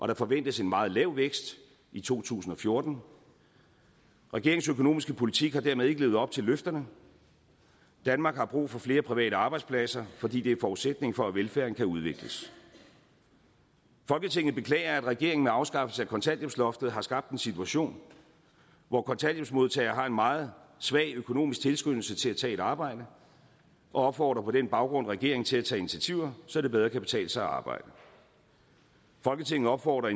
der forventes en meget lav vækst i to tusind og fjorten regeringens økonomiske politik har dermed ikke levet op til løfterne danmark har brug for flere private arbejdspladser fordi det er forudsætningen for at velfærden kan udvikles folketinget beklager at regeringen med afskaffelsen af kontanthjælpsloftet har skabt en situation hvor kontanthjælpsmodtagere har en meget svag økonomisk tilskyndelse til at tage et arbejde og opfordrer på den baggrund regeringen til at tage initiativer så det bedre kan betale sig at arbejde folketinget opfordrer